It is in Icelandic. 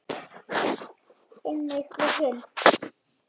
Einnig við hin.